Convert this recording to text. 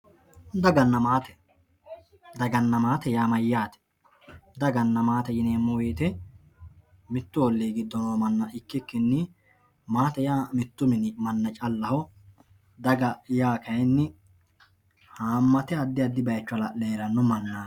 Dagannna maatte, daganna maate yaa mayate, daganna maatte yineemo woyite mitu olii gido noo mana ikikinni, maatte yaa mitu mini mana callaho, daga yaa kayinni hamatte adi adi bayicho halale heeranno manati.